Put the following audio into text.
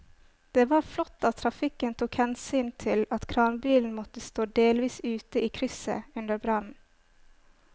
Det var flott at trafikken tok hensyn til at kranbilen måtte stå delvis ute i krysset under brannen.